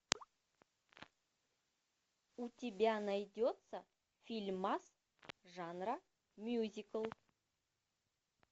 у тебя найдется фильмас жанра мюзикл